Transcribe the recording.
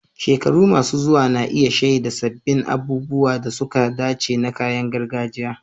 Shekaru masu zuwa na iya shaida sabbin abubuwan da suka dace na kayan gargajiya